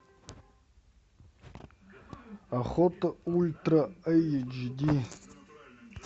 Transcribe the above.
охота ультра эйч ди